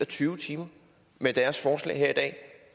tyve timer med deres forslag her i dag